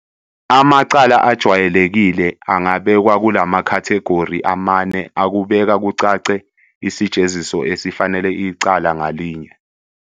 Amacala ajwayelekile angabekwa kulamakhathegori amane akubeka kucace isijeziso esifanele icala ngalinye.